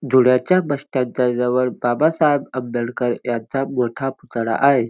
धुळ्याच्या bus stand च्या जवळ बाबासाहेब आंबेडकर यांचा मोठा पुतळा आहे.